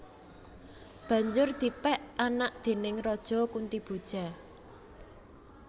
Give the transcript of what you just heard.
Banjur dipèk anak déning Raja Kuntiboja